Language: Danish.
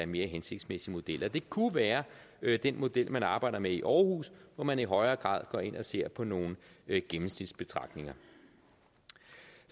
mere hensigtsmæssige modeller det kunne være være den model man arbejder med i aarhus hvor man i højere grad går ind og ser på nogle gennemsnitsbetragtninger